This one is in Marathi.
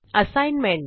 असाईनमेंट